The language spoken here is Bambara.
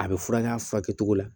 A bɛ furakɛ a furakɛ cogo la